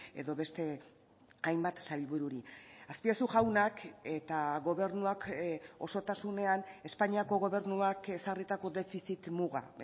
edo beste hainbat sailbururi azpiazu jaunak eta gobernuak osotasunean espainiako gobernuak ezarritako defizit muga